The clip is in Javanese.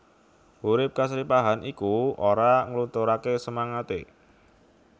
Urip kasripahan iku ora nglunturaké semangaté